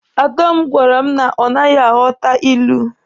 Ada m gwara m na ọ naghị aghọta ilu.